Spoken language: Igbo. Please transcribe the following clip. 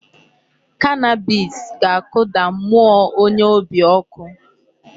Cannabis ga-akụda mmụọ onye obi ọkụ.